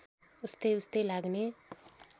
उस्तै उस्तै लाग्ने